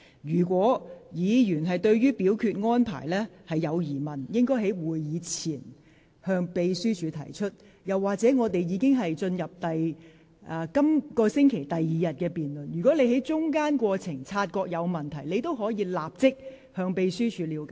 議員如對安排有疑問，應於會議前向秘書處提出；再者，本會現已進入本星期第二天的辯論環節，如果你在會議進行期間察覺有問題，可即時向秘書處了解。